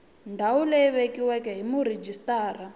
ndhawu leyi vekiweke hi murhijisitara